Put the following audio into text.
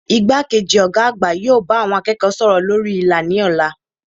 Igbákejì Ògá àgbà yóò bá àwon akéèkó sòrò lórí ìlà ní òla